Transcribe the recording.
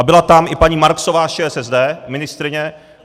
A byla tam i paní Marksová z ČSSD, ministryně.